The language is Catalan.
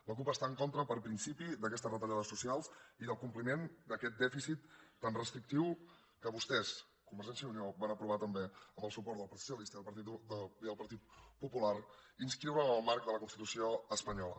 la cup està en contra per principi d’aquestes retallades socials i del compliment d’aquest dèficit tan restrictiu que vostès convergència i unió van aprovar també amb el suport del partit socialista i el partit popular inscriure’l en el marc de la constitució espanyola